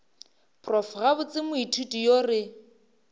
prof gabotse moithuti yo re